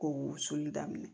Ko wusuli daminɛ